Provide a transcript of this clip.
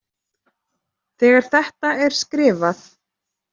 Þegar þetta er skrifað.